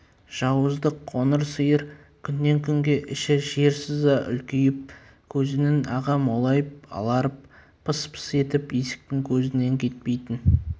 жауыздық қоңыр сиыр күннен күнге іші жер сыза үлкейіп көзінің ағы молайып аларып пыс-пыс етіп есіктің көзінен кетпейтін